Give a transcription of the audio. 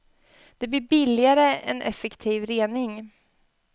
Det blir billigare än effektiv rening.